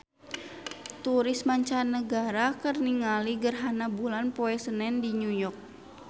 Turis mancanagara keur ningali gerhana bulan poe Senen di New York